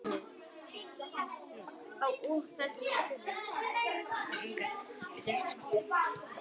Hugsa allt í einu.